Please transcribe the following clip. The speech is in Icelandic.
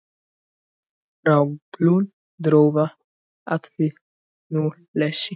Frá glundroða, atvinnuleysi.